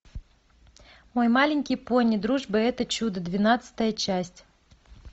мой маленький пони дружба это чудо двенадцатая часть